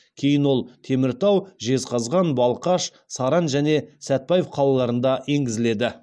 кейін ол теміртау жезқазған балқаш саран және сәтбаев қалаларында енгізіледі